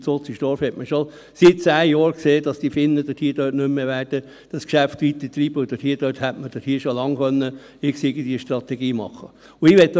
In Utzenstorf hat man schon seit zehn Jahren gesehen, dass die Finnen dort das Geschäft nicht mehr weiterbetreiben werden, und dort hätte man schon lange irgendwie eine Strategie machen können.